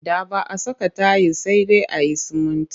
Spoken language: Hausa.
Da ba a saka tayil sai dai a yi sumunti